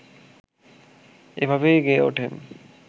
এভাবেই গেয়ে ওঠেন